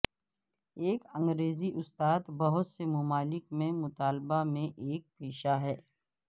ایک انگریزی استاد بہت سے ممالک میں مطالبہ میں ایک پیشہ ہے